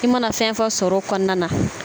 I mana fɛn fɛn sɔrɔ o kɔnɔna na